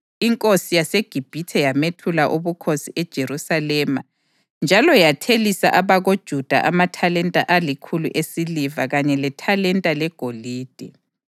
Inkosi yaseGibhithe yamethula ubukhosi eJerusalema njalo yathelisa abakoJuda amathalenta alikhulu esiliva kanye lethalenta legolide.